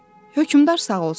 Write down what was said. Hökmdar sağ olsun.